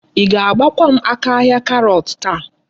Í ga-agbakwa m aka ahia karọt taa.